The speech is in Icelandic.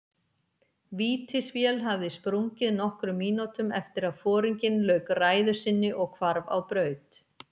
Vítisvél hafði sprungið nokkrum mínútum eftir að foringinn lauk ræðu sinni og hvarf á braut.